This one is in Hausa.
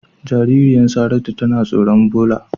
Jaririyan Saratu tana tsoron ɓola.